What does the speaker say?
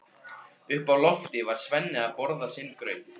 Uppi á lofti var Svenni að borða sinn graut.